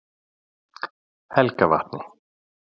Helgavatni